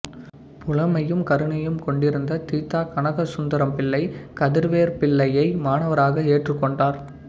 புலமையும் கருணையும் கொண்டிருந்த தி த கனகசுந்தரம்பிள்ளை கதிரவேற்பிள்ளையை மாணவராக ஏற்றுக் கொண்டார்